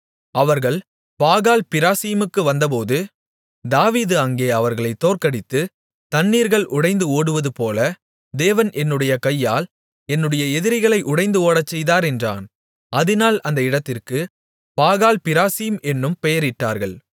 அவர்கள் பாகால்பிராசீமுக்கு வந்தபோது தாவீது அங்கே அவர்களைத் தோற்கடித்து தண்ணீர்கள் உடைந்து ஓடுவதுபோல தேவன் என்னுடைய கையால் என்னுடைய எதிரிகளை உடைந்து ஓடச்செய்தார் என்றான் அதினால் அந்த இடத்திற்கு பாகால்பிராசீம் என்னும் பெயரிட்டார்கள்